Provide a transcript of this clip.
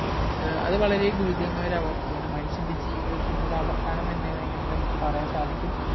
ഏർ അത് വളരെ ഗുരുതരമായ ഒര അവസ്ഥയാണ് മനുഷ്യന്റെ ജീവിതത്തിന്റെ ഒരവസാനം തന്നെ വേണെങ്കി അങ്ങനെ പറയാൻ സാധിക്കും